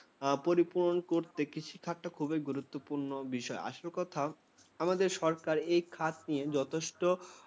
পরিপূরণ করতে কৃষিখাতটা খুবই গুরুত্বপুর্ণ বিষয়। আসল কথা আমাদের সরকার এই খাত নিয়ে যথেষ্ট